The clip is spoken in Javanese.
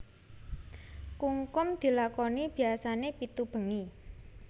Kungkum dilakoni biasané pitu bengi